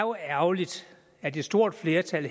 er ærgerligt at et stort flertal